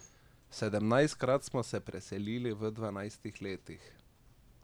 Sedemnajstkrat smo se selili v dvanajstih letih.